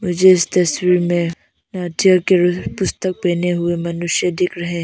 मुझे इस तस्वीर में नाट्यगृह पुस्तक पहने हुए मनुष्य दिख रहे --